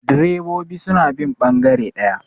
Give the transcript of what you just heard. direbobi suna bin bangare daya